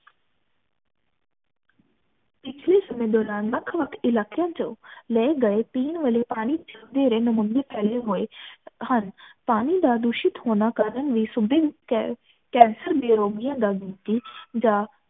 ਪਿਛਲੇ ਸਮੇਂ ਦੌਰਾਨ ਵੱਖ ਵੱਖ ਇਲਾਕਿਆਂ ਚੋ ਲਏ ਗਏ ਪਿੰਨ ਵਾਲੇ ਪਾਣੀ ਫੈਲੇ ਹੋਏ ਹਨ ਪਾਣੀ ਦਾ ਦੂਸ਼ਿਤ ਹੋਣਾ ਕਾਰਨ ਇਹ ਸੁਬਿਨ ਕੈਂਸਰ ਦੇ ਰੋਗੀਆਂ ਦਾ ਜਾ